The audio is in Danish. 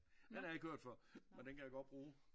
Ja den har jeg ikke hørt før men den kan jeg godt bruge